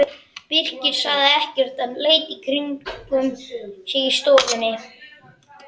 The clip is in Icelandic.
Birkir sagði ekkert en leit í kringum sig í stofunni.